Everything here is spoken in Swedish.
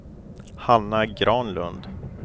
Hanna Granlund